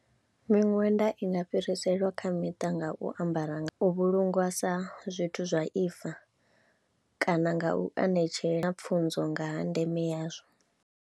Miṅwenda i nga fhiriselwa kha miṱa nga u ambara, u vhulungwa sa zwithu zwa ifa kana nga u anetshela kha pfhunzo nga ha ndeme yazwo.